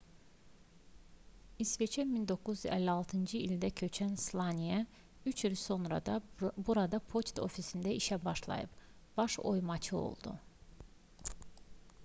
i̇sveçə 1956-cı ildə köçən slaniya üç il sonra burada poçt ofisində işə başlayıb baş oymaçı oldu